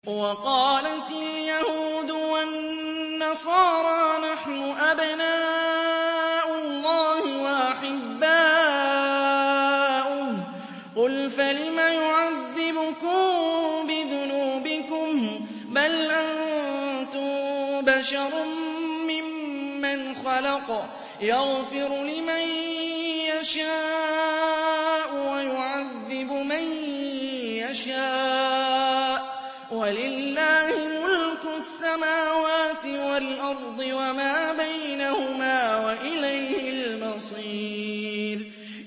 وَقَالَتِ الْيَهُودُ وَالنَّصَارَىٰ نَحْنُ أَبْنَاءُ اللَّهِ وَأَحِبَّاؤُهُ ۚ قُلْ فَلِمَ يُعَذِّبُكُم بِذُنُوبِكُم ۖ بَلْ أَنتُم بَشَرٌ مِّمَّنْ خَلَقَ ۚ يَغْفِرُ لِمَن يَشَاءُ وَيُعَذِّبُ مَن يَشَاءُ ۚ وَلِلَّهِ مُلْكُ السَّمَاوَاتِ وَالْأَرْضِ وَمَا بَيْنَهُمَا ۖ وَإِلَيْهِ الْمَصِيرُ